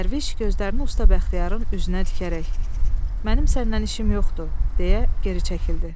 Dərviş gözlərini usta Bəxtiyarın üzünə dikərək: "Mənim səndən işim yoxdur!" - deyə geri çəkildi.